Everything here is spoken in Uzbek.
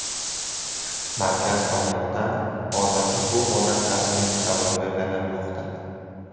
Markaz tomonidan hozirda bu holatlarning sababi o‘rganilmoqda.